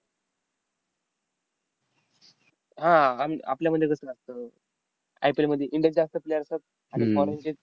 हा आह आन आपल्यामध्ये कसं असतं, एप्रिलमध्ये इंग्लंडचे जास्त player असतात आणि foreign चे